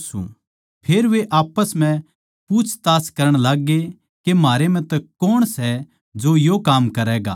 फेर वे आप्पस म्ह पूच्छताछ करण लाग्ये के म्हारै म्ह तै कोण सै जो यो काम करैगा